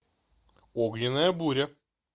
огненная буря